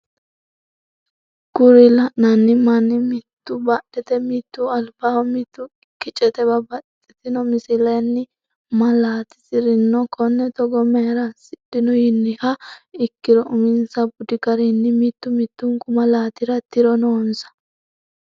Kuri lainnanni manni mitu badhete mitu albaho mitu kicete babaxitinno misilenni malatisirinno. konne togo mayra asidhino yiniha ikkiro uminsa budi garinni mitu mitunku malatira tiro noonsa.